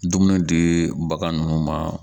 Dumuni di bagan nunnu ma